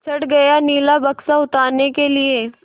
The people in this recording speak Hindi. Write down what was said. चढ़ गया नीला बक्सा उतारने के लिए